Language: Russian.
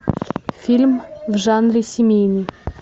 фильм в жанре семейный